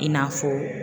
I n'a fɔ